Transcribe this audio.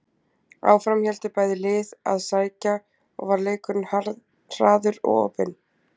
Áfram héldu bæði lið að sækja og var leikurinn hraður og opinn.